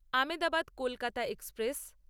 Ahmedabad Kolkata express